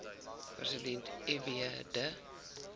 president fw de